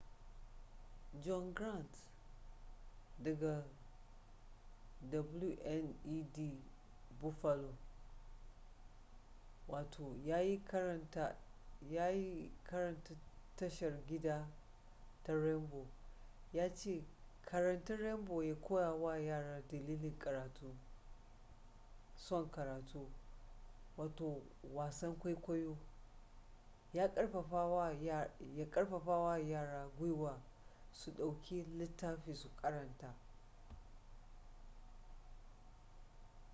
john grant daga wned buffalo yayin karanta tashar gida ta rainbow ya ce karanta rainbow ya koya wa yara dalilin karatu son karatu - [wasan kwaikwayo] ya karfafa wa yara gwiwa su dauki littafi su karanta.